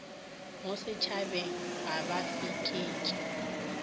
mo sešhabeng ga ba fekeetše